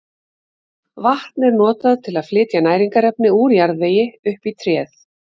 Vatn er notað til að flytja næringarefni úr jarðvegi upp í tréð.